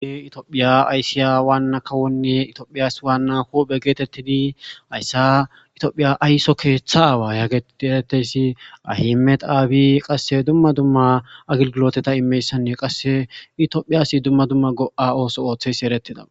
Tophiya ayssiya wanna kawone tophiyas wana huphe gettetidi hayssa tophiya aysso keththa awa yagettidi xessetiza ahmed abiy qasse duma duma go7otaa immesene qasse thophiyassi duma duma go7a dhoqqa asso othos.